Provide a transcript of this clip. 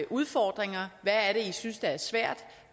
udfordringer hvad er det i synes er svært